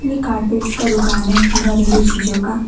Carpet का दुकान है घरेलू चीजों का।